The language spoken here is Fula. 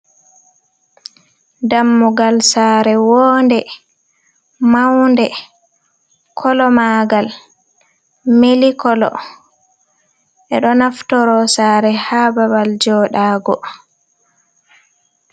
Dammugal saare wonde, maunde, kolo magal milik kolo ɓe ɗo naftoro saare ha babal joɗago.